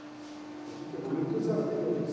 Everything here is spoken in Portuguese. É aqui que eu vou me entusiasmei com aquilo.